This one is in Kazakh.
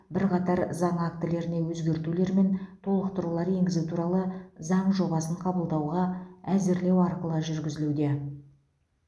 бірқатар заң актілеріне өзгертулер мен толықтырулар енгізу туралы заң жобасын қабылдауға әзірлеу арқылы жүргізілуде